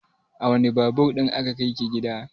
A wane Babur ɗin aka kai ki gida?